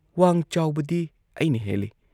ꯋꯥꯥꯥꯡ ꯆꯥꯎꯕꯗꯤ ꯑꯩꯅ ꯍꯦꯜꯂꯤ ꯫